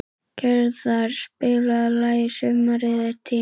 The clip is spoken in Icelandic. Gerðar, spilaðu lagið „Sumarið er tíminn“.